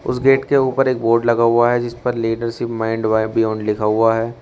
उस गेट के ऊपर एक बोर्ड लगा हुआ है जिस पर लीडरशिप माइंड बियोंड लिखा हुआ है।